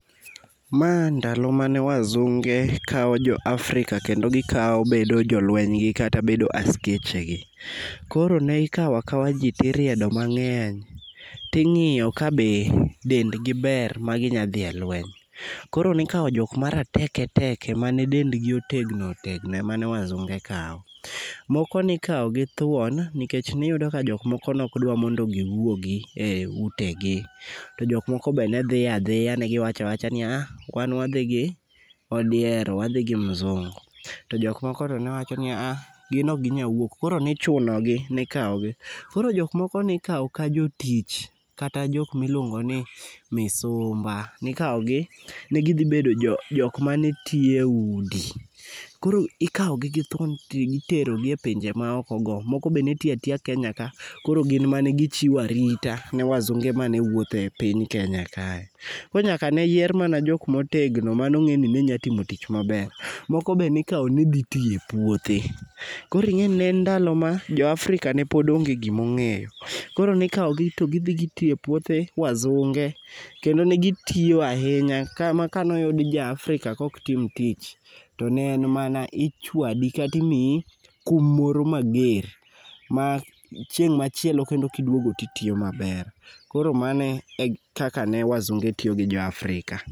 Ma ndalo mane wazunge kao jo Afrika kendo gikao bedo jolwenygi, kata bedo askeche gi. Koro ne ikawo akawa ji to iriedo mangény, to ingíyo ka be dendgi ber ma ginya dhi e lweny. Koro ne ikawo jok ma rateke teke ma ne dendgi otegno otegno ema ne wazunge kawo. Moko ne ikawo gi thuon, nikech ne iyudo ka jokmoko ne ok dwar mondo giwuogi e utegi. To jokmoko be ne dhi a dhiya, ne gi wacho a wacha ni a a wan wadhi gi odiero, wadhi gi mzungu. To jok moko ne wacho ni a a gin okginyal wuok. Koro ne ichuno gi, ne ikawo gi. Koro jok moko ne ikawo ka jotich, kata jok ma iluongo ni misumba. Ne ikawo gi, ni gidhi bedo jo jok mane tiyo e udi. Koro ikawo gi gi thuon to itero gi e pinje ma oko go. Moko be netiyo atiya Kenya ka, koro gin mane gichiwo arita ne wazunge mane wuotho e piny Kenya kae. Koro nyaka ne yier mana jok ma otegno, mane ongé ni nenyalo timo tich maber. Moko be ne ikawo ni dhi tiyo e puothe. Koro ingé ni ne en ndalo ma jo Afrika ne pod ne onge gima ongéyo. Koro ne ikawo gi to gidhi gitiyo e puothe wasunge, kendo negitiyo ahinya kama ka ne oyud ja Afrika ma ok tim tich to ne en mana ichwadi kata imii kum moro mager. Ma chieng' machielo kendo kiduogo to itiyo maber. Koro mano e kaka ne wasunge tiyo gi jo Afrika.